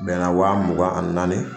Bɛnna waa mugan ani naani.